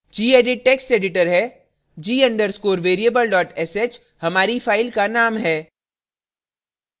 gedit text editor है g _ underscore variable sh हमारी file का name है